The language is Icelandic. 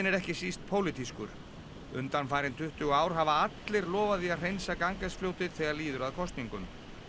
ekki síst pólitískur undanfarin tuttugu ár hafa allir lofað því að hreinsa Ganges fljótið þegar líður að kosningum